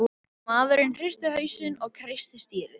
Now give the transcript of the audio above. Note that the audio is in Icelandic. Maðurinn hristi hausinn og kreisti stýrið.